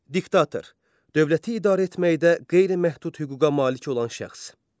Diktator dövləti idarə etməkdə qeyri-məhdud hüquqa malik olan şəxs.